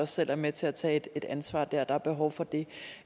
selv være med til at tage et ansvar dér der er behov for det